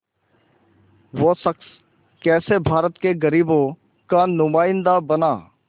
वो शख़्स कैसे भारत के ग़रीबों का नुमाइंदा बना